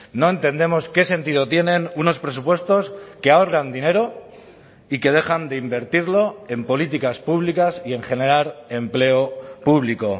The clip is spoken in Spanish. no entendemos qué sentido tienen unos presupuestos que ahorran dinero y que dejan de invertirlo en políticas públicas y en generar empleo público